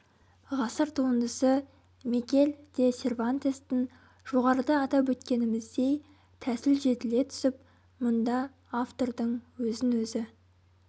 ғасыр туындысы мигель де сервантестің жоғарыда атап өткеніміздей тәсіл жетіле түсіп мұнда автордың өзін-өзі